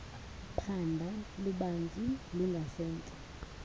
phando lubanzi lungasentla